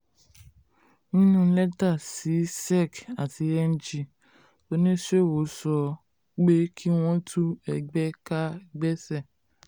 nínú lẹ́tà sí sec àti ng oníṣòwò sọ oníṣòwò sọ pé kí wọ́n tú ẹgbẹ́ ká gbèsè.